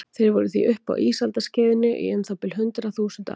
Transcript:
Þeir voru því uppi á ísaldarskeiði í um það bil hundrað þúsund ár.